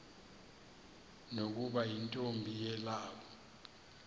nokuba yintombi yelawu